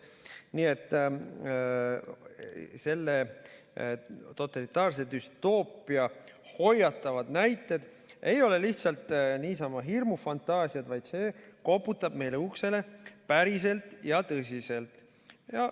Nii et selle totalitaarse düstoopia hoiatavad näited ei ole lihtsalt niisama hirmufantaasiad, vaid see koputab meie uksele päriselt ja tõsiselt.